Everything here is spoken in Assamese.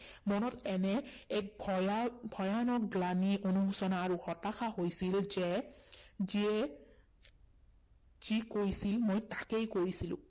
মনত এনে এক ভয়া, ভয়ানক গ্লানি অনুশোচনা আৰু হতাশা হৈছিল যে, যিয়ে যি কৈছিল মই তাকেই কৰিছিলো।